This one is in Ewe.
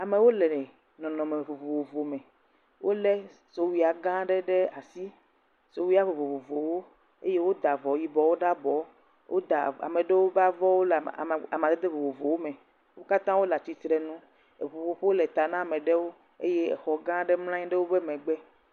Amewo le nɔnɔme vovovo me. Wolé sowuiagã aɖe ɖe asi. Sowuia vovovowo. Eye woda avɔ yibɔwo ɖe abɔ. Woda, ame ɖewo ƒe avɔwo le ama, amadede vovovowo me. Wo katã wole atsitrenu. Eŋuƒoƒo le ta na ame ɖewo eye exɔgã aɖe mlɔ̃ anyi ɖe woƒe megbe.